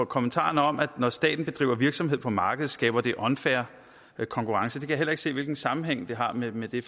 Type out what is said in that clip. kommentaren om at når staten bedriver virksomhed på markedet skaber det unfair konkurrence kan jeg heller ikke se hvilken sammenhæng det har med med det